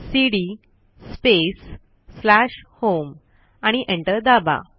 CD space slash home आणि enter दाबा